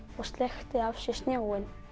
og sleikti af sér snjóinn